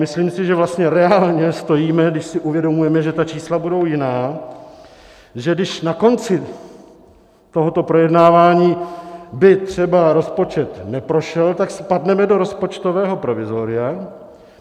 Myslím si, že vlastně reálně stojíme, když si uvědomujeme, že ta čísla budou jiná, že když na konci tohoto projednávání by třeba rozpočet neprošel, tak spadneme do rozpočtového provizoria.